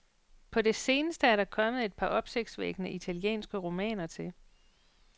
På det seneste er der kommet et par opsigtsvækkende italienske romaner til.